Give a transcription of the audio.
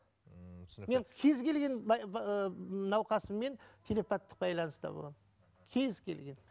ммм түсінікті мен кез келген науқасыммен телепаттық байланыста боламын кез келген